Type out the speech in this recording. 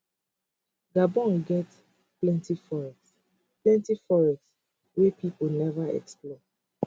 gabon get plenti forests plenti forests wey pipo neva explore